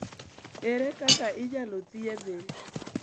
Ere kaka inyalo thiedhe?